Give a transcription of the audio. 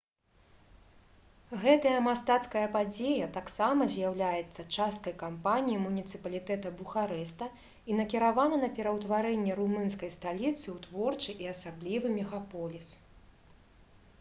гэтая мастацкая падзея таксама з'яўляецца часткай кампаніі муніцыпалітэта бухарэста і накіравана на пераўтварэнне румынскай сталіцы ў творчы і асаблівы мегаполіс